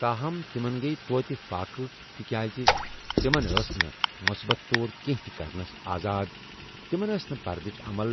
تاہم، تِمن ٕگیہِ توتہِ فاقہٕ تہِ كیازِ تِمن، ٲس نہٕ مُسبت طور كٕینہہ تہِ كرنس آزاد ، تِمن ٲس نہٕ پردٕچ عمل ،